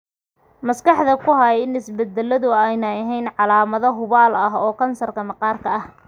Maskaxda ku hay in isbeddeladu aanay ahayn calaamad hubaal ah oo kansarka maqaarka ah.